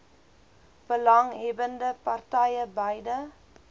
belanghebbbende partye beide